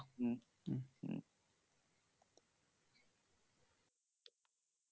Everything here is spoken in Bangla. হম হম হম